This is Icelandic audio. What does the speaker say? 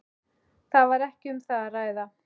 Það var ekki um það að ræða.